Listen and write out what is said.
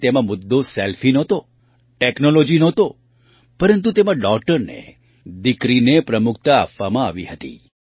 અને તેમાં મુદ્દો સેલ્ફી નહોતો ટૅક્નૉલૉજી નહોતો પરંતુ તેમાં ડૉટરને દીકરીને પ્રમુખતા આપવામાં આવી હતી